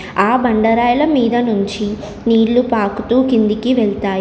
ఆ బండ రాయిల మీద నుంచి నీళ్లు పాకుతూ కిందికి వెళ్తాయి.